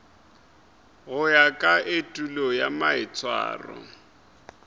go ya ka etulo maitshwaro